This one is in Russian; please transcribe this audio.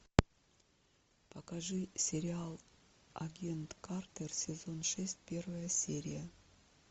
покажи сериал агент картер сезон шесть первая серия